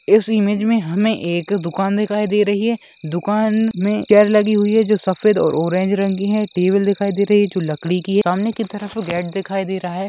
इस इमेज में हमें एक दुकान दिखाई दे रही है दुकान में चेयर लगी हुई है जो सफेद और ऑरेंज रंग की है टेबल दिखाई दे रही है जो लकड़ी की है सामने की तरफ गेट दिखाई दे रहा है।